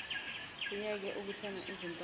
siyeke ukuthenga izimpahla